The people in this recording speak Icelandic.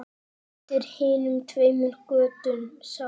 Undir hinum tveimur götunum sátu